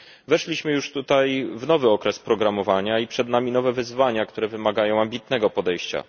Weszliśmy już w nowy okres programowania i przed nami nowe wyzwania, które wymagają ambitnego podejścia.